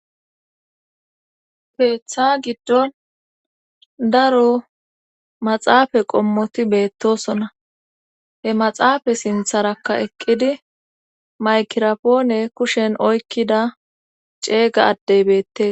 Keeththa giddon daro maxaafa qommoti beettosona he maxaafa sintharakka eqqidi maykirapoone kushen oykkida ceeyga addey beette.